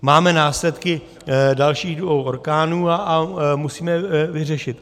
Máme následky dalších dvou orkánů a musíme je vyřešit.